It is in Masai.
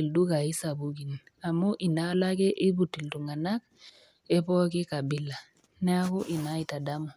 ildukain sapukin amu inaalo ake eiput iltung'ana e pooki kabila, neaku Ina aitademu.